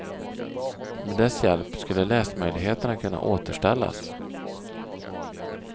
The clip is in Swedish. Med dess hjälp skulle läsmöjligheterna kunna återställas.